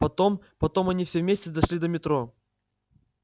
потом потом они все вместе дошли до метро